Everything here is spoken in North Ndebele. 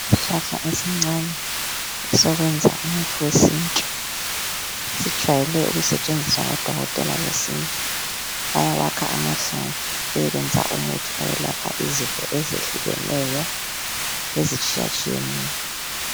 Isihlahla esincane esokwenza umuthi wesintu, sijwayele ukusetshenziswa ngoDokotela besintu bayawakha amahlamvu beyekwenza umuthi owelapha izifo ezehlukeneyo ezitshiyatshiyeneyo.